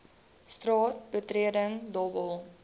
straat betreding dobbel